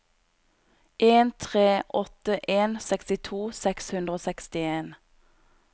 en tre åtte en sekstito seks hundre og sekstien